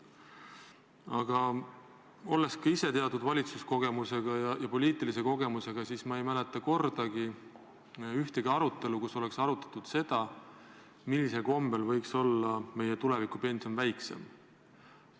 Aga olles ka ise teatud valitsuskogemusega ja poliitilise kogemusega, pean ütlema, et ma ei mäleta ühtegi arutelu, kus oleks arutatud seda, millisel kombel võiks meie tuleviku pension väiksem olla.